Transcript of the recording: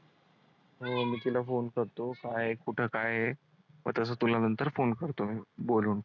हो मी तिला phone करतो तुला नंतर phone करतो मी बोलून.